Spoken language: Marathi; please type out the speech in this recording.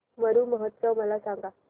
मरु महोत्सव मला सांग